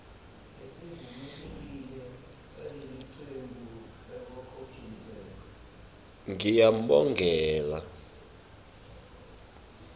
ngiyambongela